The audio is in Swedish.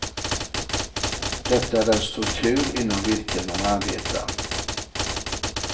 Detta är den struktur inom vilken man arbetar.